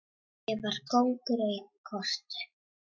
Ég var kóngur í korter.